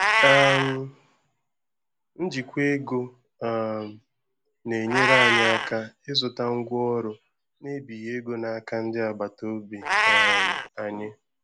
um Njikwa ego um na-enyere anyị aka ịzụta ngwa ọrụ na ebighi ego n'aka ndi agbata obi um anyi